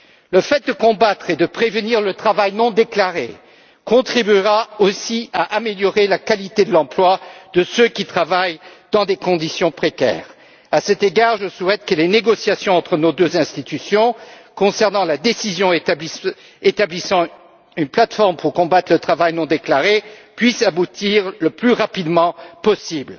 Le fait de combattre et de prévenir le travail non déclaré contribuera aussi à améliorer la qualité de l'emploi de ceux qui travaillent dans des conditions précaires. À cet égard, je souhaite que les négociations, entre nos deux institutions, sur la décision d'établir une plate forme pour combattre le travail non déclaré, puisse aboutir le plus rapidement possible.